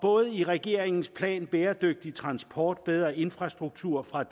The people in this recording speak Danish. i regeringens plan bæredygtig transport bedre infrastruktur fra